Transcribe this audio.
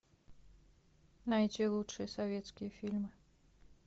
найти лучшие советские фильмы